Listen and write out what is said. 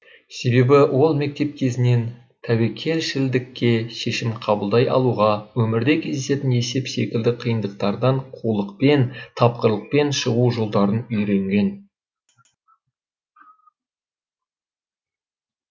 себебі ол мектеп кезінен тәуекелшілдікке шешім қабылдай алуға өмірде кездесетін есеп секілді қиындықтардан қулықпен тапқырлықпен шығу жолдарын үйренген